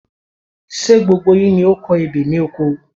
Ṣé gbogbo yín ni o kọ ebè ni oko?